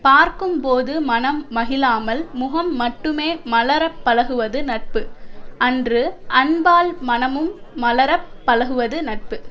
பார்க்கும்போது மனம் மகிழாமல் முகம் மட்டுமே மலரப் பழகுவது நட்பு அன்று அன்பால் மனமும் மலரப் பழகுவது நட்பு